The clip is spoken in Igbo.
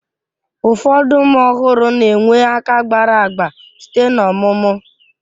Ụfọdụ ụmụ ọhụrụ na-enwe aka gbara agba site n'ọmụmụ